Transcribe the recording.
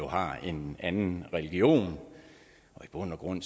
har en anden religion i bund og grund